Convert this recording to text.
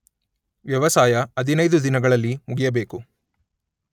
ವ್ಯವಸಾಯ ಹದಿನೈದು ದಿನಗಳಲ್ಲಿ ಮುಗಿಯಬೇಕು.